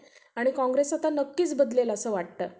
आणि काँग्रेस आता नक्कीच बदलेल असं वाटतं.